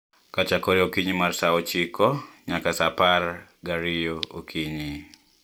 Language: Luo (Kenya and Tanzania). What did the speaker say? Kachakore okinyi mar Sa ochiko nyaka sa apar gariyo okinyi